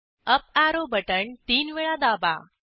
up arrow button तीन वेळा दाबा